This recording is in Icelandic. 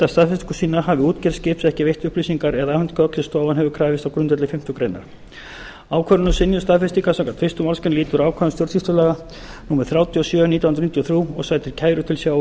staðfestingu sína hafi útgerð skips ekki veitt upplýsingar eða afhent gögn sem stofan hefur krafist á grundvelli fimmtu grein ákvörðun um synjun staðfestingar samkvæmt fyrstu málsgrein lýtur ákvæðum stjórnsýslulaga númer þrjátíu og sjö nítján hundruð níutíu og þrjú og sætir kæru til